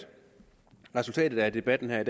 resultatet af debatten her i